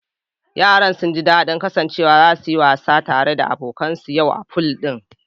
Yaran sunji dadin kasancewar zasu yi wasa tare da abokan su yau a pool din